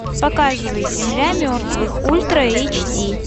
показывай земля мертвых ультра эйч ди